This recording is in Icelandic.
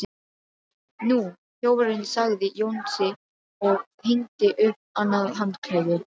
Nú, þjófurinn sagði Jónsi og hengdi upp annað handklæði.